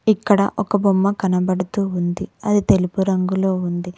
ఇక్కడ ఒక బొమ్మ కనపడుతు ఉంది అది తెలుపు రంగులో ఉంది.